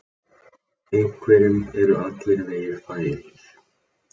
Einhverjum eru allir vegir færir